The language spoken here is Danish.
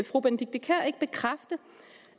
fru benedikte kiær ikke godt bekræfte